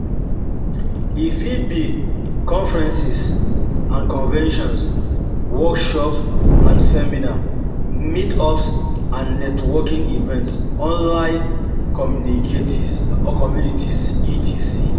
E fit be conferences and conventions, workshops and seminars, meetups and networking events, online communities etc.